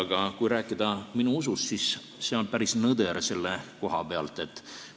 Aga kui rääkida minu usust, siis see on selle koha pealt päris nõder.